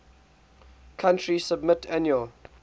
country submit annual